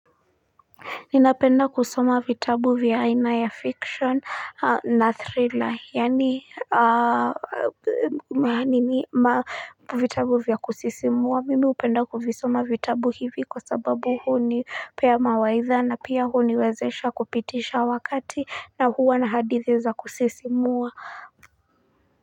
Ninapenda kusoma vitabu vya aina ya fiction na thriller yani vitabu vya kusisimua mimi upenda kusoma vitabu hivi kwa sababu huo ni pea mawaitha na pia huniwezesha kupitisha wakati na huwa na hadithiza kusisimua.